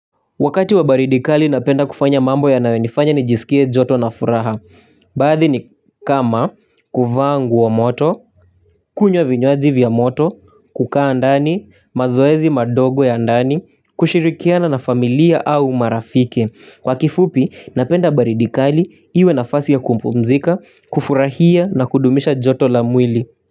Wakati wa baridi kali napenda kufanya mambo yanayo nifanya nijisikie joto na furaha. Baadhi ni kama kuvaa nguo moto, kunywa vinywaji vya moto, kukaa ndani, mazoezi madogo ya ndani, kushirikiana na familia au marafiki. Kwa kifupi napenda baridi kali iwe nafasi ya kumpumzika, kufurahia na kudumisha joto la mwili.